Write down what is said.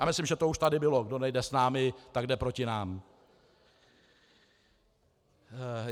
A myslím, že to už tady bylo - kdo nejde s námi, tak jde proti nám.